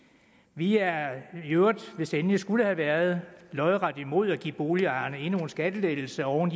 vi er i øvrigt hvis det endelig skulle have været lodret imod at give boligejerne endnu en skattelettelse oven